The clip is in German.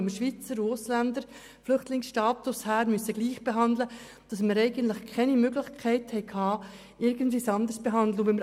Weil wir Schweizer und Ausländer mit Flüchtlingsstatus bisher gleich behandeln mussten, hatten wir das Problem, dass es eigentlich keine Möglichkeit gab, irgendjemanden anders zu behandeln.